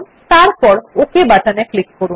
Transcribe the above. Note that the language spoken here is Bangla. তারপর ওক বাটনে ক্লিক করুন